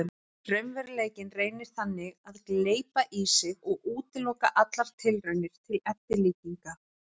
Raunveruleikinn reynir þannig að gleypa í sig og útiloka allar tilraunir til eftirlíkinga.